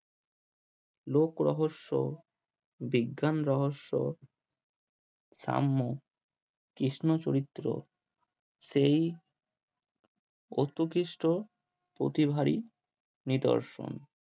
লোক রহস্য বিজ্ঞান রহস্য সাম্য কৃষ্ণ চরিত্র সেই অত্যুকৃস্ট প্রতিভারই নিদর্শন